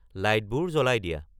লাইটবোৰ জ্বলাই দিয়া